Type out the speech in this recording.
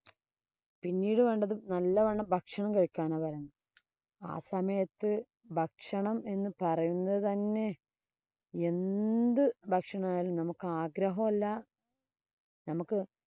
പിന്നീട് വേണ്ടത് നല്ലവണ്ണം ഭക്ഷണം കഴിക്കാനാ പറയുന്നേ. ആ സമയത്ത് ഭക്ഷണം എന്ന് പറയുന്നത് തന്നെ എന്ത് ഭക്ഷണമായാലും നമുക്ക് ആഗ്രഹവല്ല നമുക്ക്